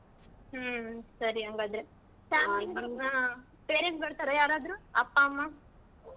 ಹ್ಮ್ ಸರಿ ಹಂಗಾದ್ರೆ ಹ್ಮ್ parents ಬರ್ತಾರಾ ಯಾರಾದ್ರು ಅಪ್ಪಾ ಅಮ್ಮಾ?